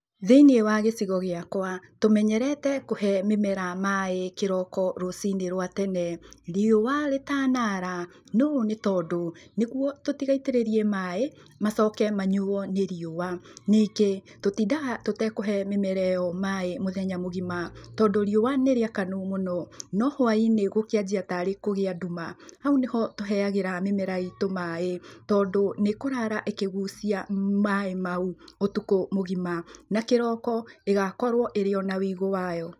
Thĩiniĩ wa gĩcigo gĩakwa, tũmenyerete kuhe mĩmera maĩ kĩroko rũcinĩ rwa tene riũa rĩtanara. Noũ nĩ tondũ nĩguo tũtigaitĩrĩrie maĩ macoke manyuuo nĩ riũa. Ningĩ, tũtindaga tũtakũhe mĩmera ĩyo maĩ mũthenya mũgima tondũ riũa nĩ rĩakanu mũno no hũainĩ gũkĩanjia tarĩ kũgĩa nduma, hau nĩho tũheagĩra mĩmera itũ maĩ tondũ nĩ ĩkũrara ĩkĩgucia maĩ mau ũtukũ mũgima na kĩroko ĩgakorwo ĩrĩ ona wũigũ wayo.